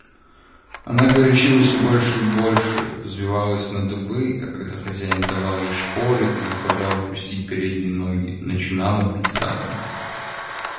она горячилась всё больше и больше взвивалась на дыбы а когда хозяин давал ей шпоры и заставлял опустить передние ноги начинала бить задом